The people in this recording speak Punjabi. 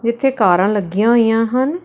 ਇਥੇ ਕਾਰਾਂ ਲੱਗੀਆਂ ਹੋਈਆਂ ਹਨ।